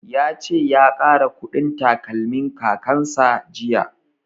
Ya ce ya ƙara ƙudin takalmin kakan sa jiya